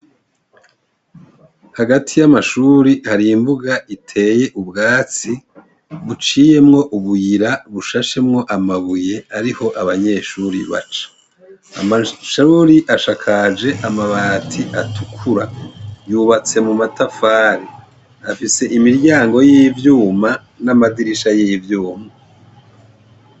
Hagati y'amashure hari imbuga iteye ubwatsi, buciyemwo ubuyira bushashemwo amabuye ariho abanyeshure baca. Amashure ashakaje amabati atukura. Yubatse mumatafari. Afise imiryango yivyuma namadirisha yivyuma.